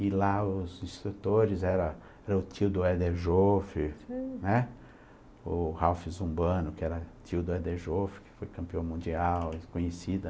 E lá os instrutores eram o tio do Eder Joffre, né, o Ralf Zumbano, que era tio do Eder Joffre, que foi campeão mundial, conhecida.